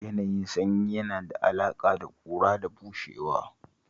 Yanayin sanyi yana da alaƙa da ƙura da bushewa